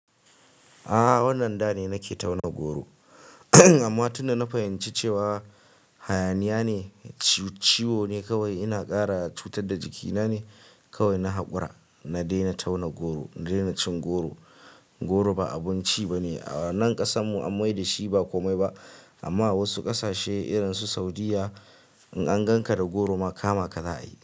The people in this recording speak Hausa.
Aa wannan dane nake tauna goro amma tunda na fahimci cewa hayaniya ne ci ciwo ne kawai ina kara cutar da jikina ne kawai na hakura. Na daina tauna goro, na daina cin goro. Goro ba abinci ba ne a nan ƙasanmu, an mai da shi ba komai ba amma a wasu ƙasashe irin su Saudiyya in an ganka da goro ma kama ka za a yi.